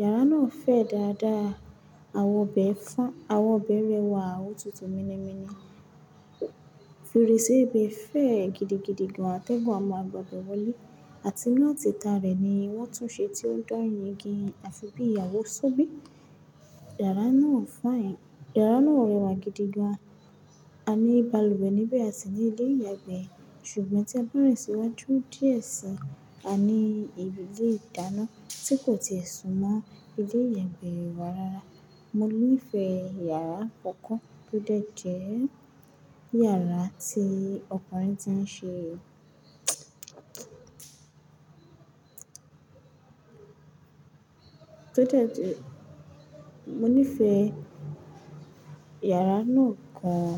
Yàrá náà fẹ̀ dáadáa, àwọ̀ bẹ̀ fọn, àwọ̀ bẹ̀rẹ̀wà òtútù mini mini. Ferese ibi fẹ̀ gidigidi gan, àtẹ́gùn a máa gbàgbọ́ wọlé àti láti ta rẹ̀ ni wọ́n túnṣe tí ó ń dán igi, a fi bí awo sóbì. Yàrá náà fine, yàrá náà rẹwà gidigan. A ní balùwẹ̀ níbẹ̀ àti ní ilé ìyàgbẹ́, ṣùgbọ́n tí a bá rìn síwájú díẹ̀ si, a ní ibi ilé ìdáná tí kò ti è súmọ́ ilé ìyàgbẹ́ wà rara Mo nífẹ̀ẹ́ yàrá kankan tó dẹ̀ jẹ́ yàrá tí gbogbo wa ti ń ṣe, tó dẹ̀ jẹ́, mo nífẹ̀ẹ́ yàrá náà gan.